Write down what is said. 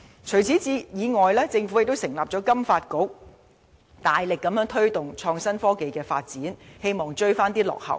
此外，政府亦成立香港金融發展局，大力推動創新科技發展，希望追回落後進度。